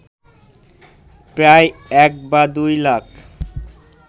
প্রায় এক বা দুই লাখ